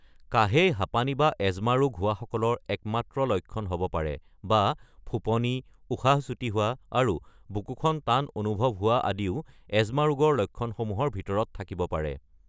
কাহেই হাপানী বা এজমা ৰোগ হোৱাসকলৰ একমাত্ৰ লক্ষণ হ’ব পাৰে, বা ফোঁপনি, উশাহ চুটি হোৱা, আৰু বুকুখন টান অনুভৱ হোৱা আদিও এজমা ৰোগৰ লক্ষণসমূহৰ ভিতৰত থাকিব পাৰে।